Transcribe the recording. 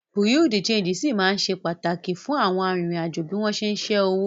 Bùréàú de ṣéńjì ṣì ma ṣe pàtàkì fún àwọn arìnrìn-àjò bí wọ́n ṣé ń ṣẹ́ owó